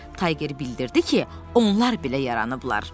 Tayger bildirdi ki, onlar belə yaranıblar.